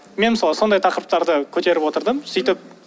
мен мысалы сол тақырыптарды көтеріп отырдым сөйтіп